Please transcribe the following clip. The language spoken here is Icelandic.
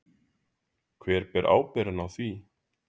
Hver ber ábyrgðina á því?